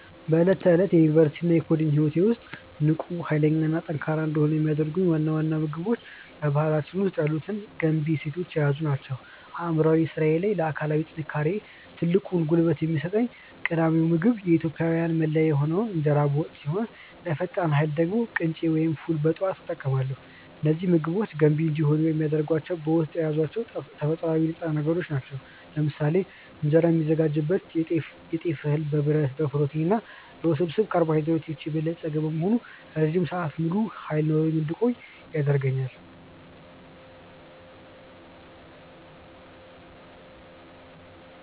በዕለት ተዕለት የዩኒቨርሲቲ እና የኮዲንግ ህይወቴ ውስጥ ንቁ፣ ኃይለኛ እና ጠንካራ እንድሆን የሚያደርጉኝ ዋና ዋና ምግቦች በባህላችን ውስጥ ያሉትን ገንቢ እሴቶች የያዙ ናቸው። ለአእምሯዊ ስራዬ እና ለአካላዊ ጥንካሬዬ ትልቁን ጉልበት የሚሰጠኝ ቀዳሚው ምግብ የኢትዮጵያዊያን መለያ የሆነው እንጀራ በወጥ ሲሆን፣ ለፈጣን ኃይል ደግሞ ቅንጬ ወይም ፉል በጠዋት እጠቀማለሁ። እነዚህ ምግቦች ገንቢ እንዲሆኑ የሚያደርጋቸው በውስጣቸው የያዟቸው ተፈጥሯዊ ንጥረ ነገሮች ናቸው። ለምሳሌ እንጀራ የሚዘጋጅበት የጤፍ እህል በብረት፣ በፕሮቲን እና በውስብስብ ካርቦሃይድሬት የበለጸገ በመሆኑ ረጅም ሰዓት ሙሉ ኃይል ኖሮኝ እንድቆይ ያደርገኛል።